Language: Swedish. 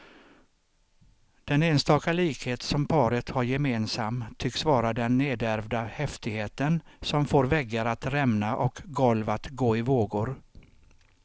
Den enstaka likhet som paret har gemensam tycks vara den nedärvda häftigheten som får väggar att rämna och golv att gå i vågor.